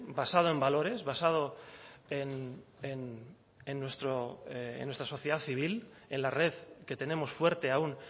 basado en valores basado en nuestra sociedad civil en la red que tenemos fuerte aún